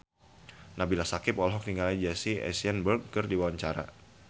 Nabila Syakieb olohok ningali Jesse Eisenberg keur diwawancara